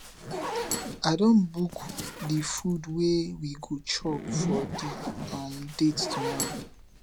i don book di food wey we go chop for di um date tomorrow